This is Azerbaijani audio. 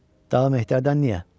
Daha Mehdərdən niyə?